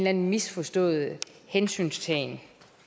anden misforstået hensyntagen